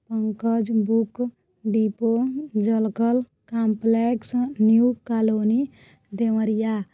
Pankaj book depot Jalkal complex new colony Deoria.